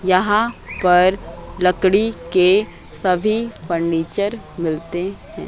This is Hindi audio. यहां पर लकड़ी के सभी फर्नीचर मिलते हैं।